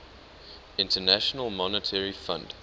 international monetary fund